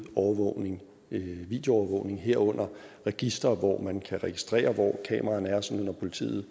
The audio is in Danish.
videoovervågning herunder registre hvor man kan registrere hvor kameraerne er sådan at politiet